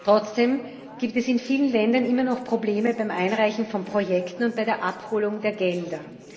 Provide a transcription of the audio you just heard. Trotzdem gibt es in vielen Ländern immer noch Probleme beim Einreichen von Projekten und bei der Abholung der Gelder.